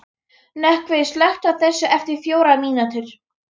Nökkvi, slökktu á þessu eftir fjórar mínútur.